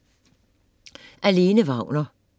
Af Lene Wagner